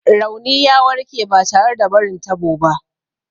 Rauni ya warke ba tare da barin tabo ba.